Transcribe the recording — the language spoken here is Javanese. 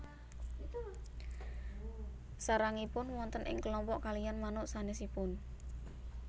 Sarangipun wonten ing kelompok kaliyan manuk sanésipun